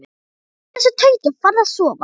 Hættu þessu tauti og farðu að sofa.